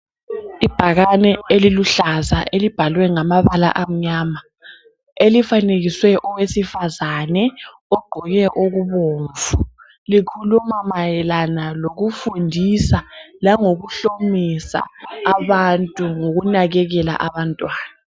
Ibhakane eliluhlaza elibhalwe ngamabala amnyama elifanekise owesifazane ogqoke okubomvu. Likhuluma mayelana lokufundisa langokuhlomisa abantu ngokunakekela abantwana.